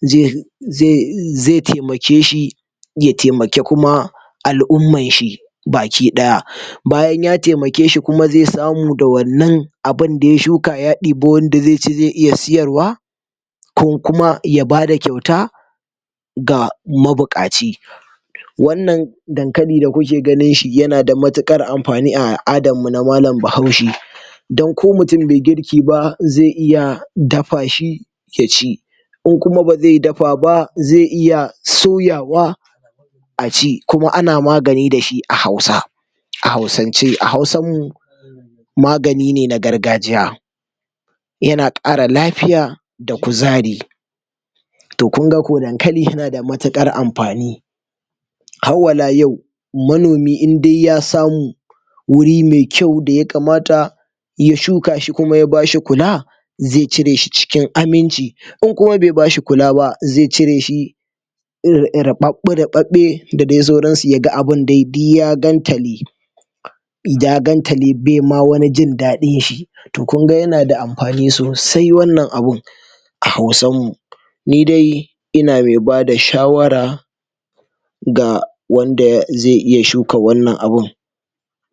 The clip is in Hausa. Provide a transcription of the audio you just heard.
ze ze ze temake shi ya temaki kuma al'ummanshi baki ɗaya, bayan ya temake shi ze samu da wannan abinda ya shuka ya ɗebi wanda ze ci ze iya siyarwa kon kuma ya bada kyauta ga mabuƙaci, wannan dankali da kuke ganin shi yana da matuƙar amfani a al'adammu na malan bahaushe, dan ko mutin be girki ba ze iya dafa shi ya ci in kuma ba ze dafa ba ze iya soyawa a ci kuma ana magani da shi a hausa, a hausance a hausammu magani ne na gargajiya, yana ƙara lafiya da kuzari, to kunga kau dankali yana da matuƙar amfani, hauwala yau manomi inde ya samu wuri me kyau da yakamata ya shuka shi kuma ya bashi kula ze cire shi cikin aminci in kuma be bashi kula ba ze cire shi ir ir riɓaɓɓe riɓaɓɓe da de sauransu yaga abun de diyya gantale, ya gantale bema wani jin daɗinshi, to kunga yana da amfani sosai wannan abun a hausammu. Ni dai ina me bada shawara ga wanda ze iya shuka wannan abun.